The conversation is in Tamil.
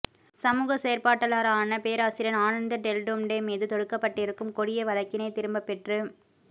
சமூக செயற்பாட்டாளரான பேராசிரியர் ஆனந்த் டெல்டும்டே மீது தொடுக்கப்பட்டிருக்கும் கொடிய வழக்கினை திரும்பப் பெற்று